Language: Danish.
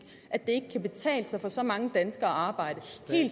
at det ikke kan betale sig for så mange danskere at arbejde